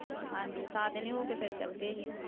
ਹਾਂਜੀ ਹੋ ਕੇ ਫਿਰ ਚਲੇ ਗਏ ਸੀ।